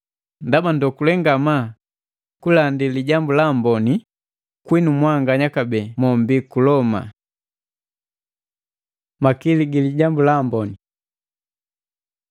Ndaba ndokule ngama kunndandi Lijambu la Amboni kwinu mwanganya kabee mombi ku Loma. Makili gi Lijambu la Amboni